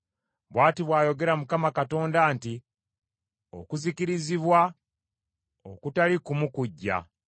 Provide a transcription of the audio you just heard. “Bw’ati bw’ayogera Mukama Katonda nti: “ ‘Okuzikirizibwa okutali kumu laba kujja.